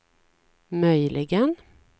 möjligen